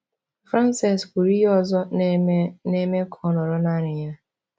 Frances kwuru ihe ọzọ na-eme na-eme ka ọ nọrọ naanị ya.